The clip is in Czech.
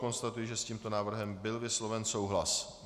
Konstatuji, že s tímto návrhem byl vysloven souhlas.